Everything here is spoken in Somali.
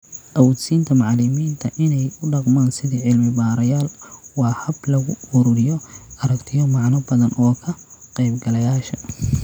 Awood-siinta macallimiinta inay u dhaqmaan sidii cilmi-baarayaal waa hab lagu ururiyo aragtiyo macno badan oo ka qaybgalayaasha.